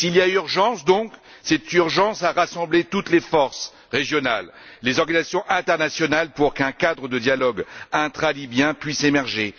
S'il y a urgence donc, c'est l'urgence à rassembler toutes les forces régionales et les organisations internationales pour qu'un cadre de dialogue intralibyen puisse émerger.